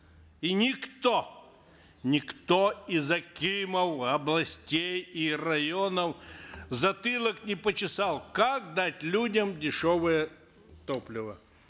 и никто никто из акимов областей и районов затылок не почесал как дать людям дешевое топливо